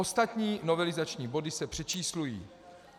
Ostatní novelizační body se přečíslují.